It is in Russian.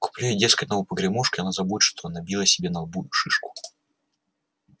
куплю ей дескать новую погремушку и она забудет что набила себе на лбу шишку